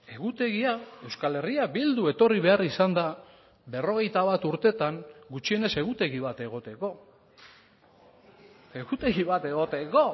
egutegia euskal herria bildu etorri behar izan da berrogeita bat urtetan gutxienez egutegi bat egoteko egutegi bat egoteko